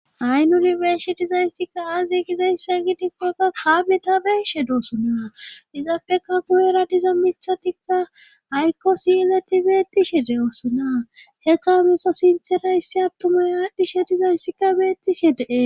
ay nuri beeshe dizayssikka aazi gizayssa gidikkokka kaabe ta beeshe doosona dizappeka guyera diza mithatikka ayko siyileti beettishe de oosona he kaabusa sinterayyssi attumay aadhdhishe dizayssikka beettishe dee